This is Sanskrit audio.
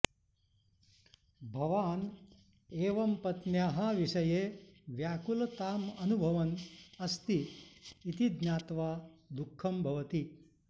भवान् एवं पत्न्याः विषये व्याकुलताम् अनुभवन् अस्ति इति ज्ञात्वा दुःखं भवति